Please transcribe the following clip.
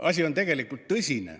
Asi on tegelikult tõsine.